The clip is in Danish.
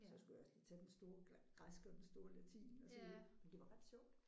Så skulle jeg også lige tage den store græske og den store latin og så videre men det var ret sjovt